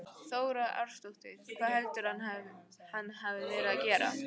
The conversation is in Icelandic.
Þóra Arnórsdóttir: Hvað heldurðu að hann hafi verið að gera?